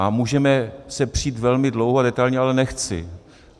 A můžeme se přít velmi dlouho a detailně, ale nechci.